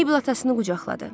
Maybel atasını qucaqladı.